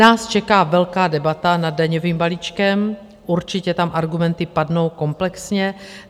Nás čeká velká debata nad daňovým balíčkem, určitě tam argumenty padnou komplexně.